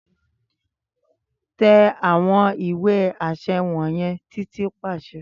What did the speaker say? Tẹ awọn ìwẹ̀ aṣẹ wọnyẹn Titi paṣẹ